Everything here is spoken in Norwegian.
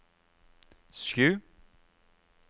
sju